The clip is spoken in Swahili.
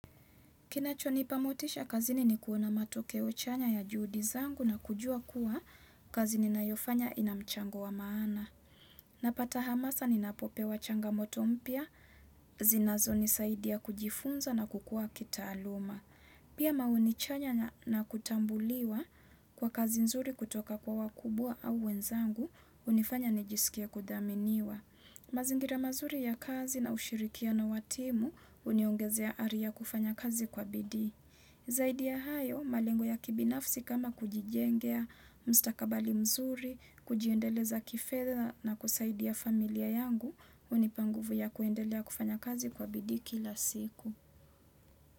Kinachonipa motisha kazini ni kuona matokeo chanya ya juhudi zangu na kujua kua kazi ninayofanya ina mchango wa maana. Napata hamasa ni napopewa changamoto mpya, zinazonisaidia kujifunza na kukua kitaaluma. Pia maoni chanya na kutambuliwa kwa kazi nzuri kutoka kwa wakubwa au wenzangu, hunifanya nijisikie kudhaminiwa. Mazingira mazuri ya kazi na ushirikiano na wa timu uniongezea hali kufanya kazi kwa bidi. Zaidi ya hayo, malengo ya kibinafsi kama kujijengea, mstakabali mzuri, kujiendeleza kifedha na kusaidia familia yangu, hunipa nguvu ya kuendelea kufanya kazi kwa bidi kila siku.